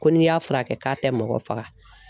Ko n'i y'a furakɛ k'a tɛ mɔgɔ faga